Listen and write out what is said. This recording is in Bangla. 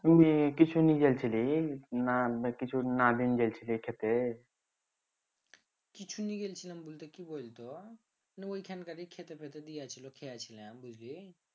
কিছু নি যাইছিলি না কিছু কিছু নি গেছিলাম বলতে কি বলতো ওইখানকার খেতে পেতে দিয়াছিল খেয়া ছিলাম বুঝলি